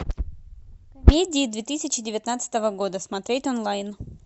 комедии две тысячи девятнадцатого года смотреть онлайн